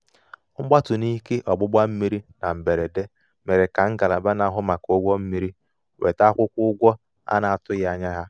mgbatu n'ike ọgbụgba mmiri na mberede mere ka ngalaba na-ahụ maka ụgwọ mmiri weta akwụkwọ ụgwọ a na-atụghị anya ya. "